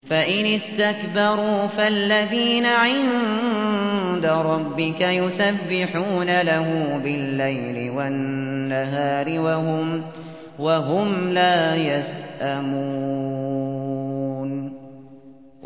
فَإِنِ اسْتَكْبَرُوا فَالَّذِينَ عِندَ رَبِّكَ يُسَبِّحُونَ لَهُ بِاللَّيْلِ وَالنَّهَارِ وَهُمْ لَا يَسْأَمُونَ ۩